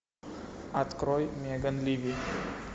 открой меган ливи